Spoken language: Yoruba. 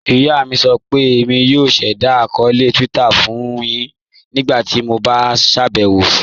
Iyà mi sọ pé Émi yóò ṣẹda akọọlẹ Twitter fun yin ńígbàtí mó bá ṣabẹwo sí.